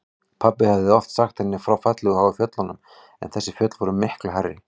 Pabbi hafði oft sagt henni frá fallegu háu fjöllunum en þessi fjöll voru miklu hærri.